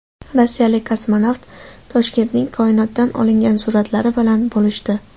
Rossiyalik kosmonavt Toshkentning koinotdan olingan suratlari bilan bo‘lishdi .